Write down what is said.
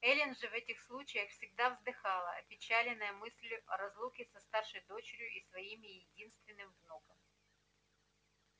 эллин же в этих случаях всегда вздыхала опечаленная мыслью о разлуке со старшей дочерью и своим единственным внуком